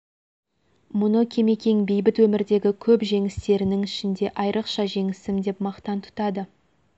мұны кемекең бейбіт өмірдегі көп жеңістерінің ішіндегі айрықша жеңісім деп мақтан тұтады